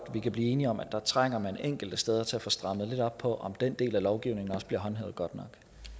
kan blive enige om at der trænger man enkelte steder til at få strammet lidt op på om den del af lovgivningen også bliver håndhævet godt